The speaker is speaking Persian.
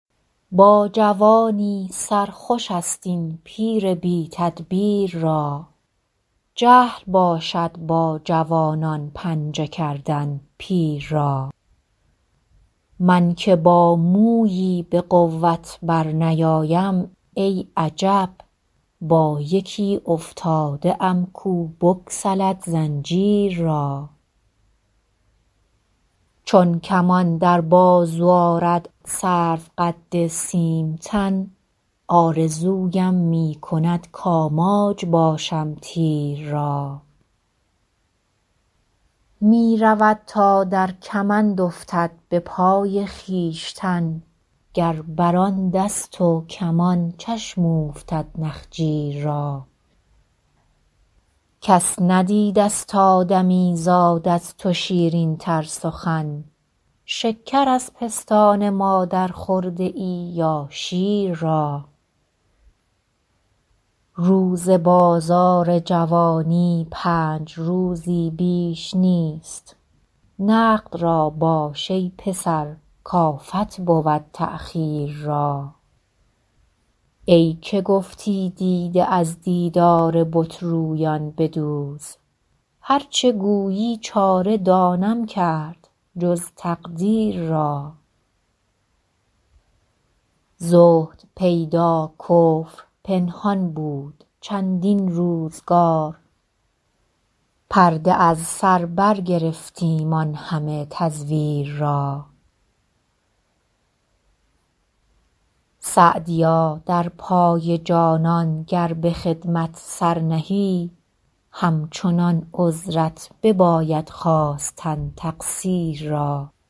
با جوانی سر خوش است این پیر بی تدبیر را جهل باشد با جوانان پنجه کردن پیر را من که با مویی به قوت برنیایم ای عجب با یکی افتاده ام کو بگسلد زنجیر را چون کمان در بازو آرد سروقد سیم تن آرزویم می کند کآماج باشم تیر را می رود تا در کمند افتد به پای خویشتن گر بر آن دست و کمان چشم اوفتد نخجیر را کس ندیدست آدمیزاد از تو شیرین تر سخن شکر از پستان مادر خورده ای یا شیر را روز بازار جوانی پنج روزی بیش نیست نقد را باش ای پسر کآفت بود تأخیر را ای که گفتی دیده از دیدار بت رویان بدوز هر چه گویی چاره دانم کرد جز تقدیر را زهد پیدا کفر پنهان بود چندین روزگار پرده از سر برگرفتیم آن همه تزویر را سعدیا در پای جانان گر به خدمت سر نهی همچنان عذرت بباید خواستن تقصیر را